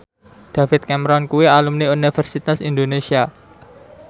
David Cameron kuwi alumni Universitas Indonesia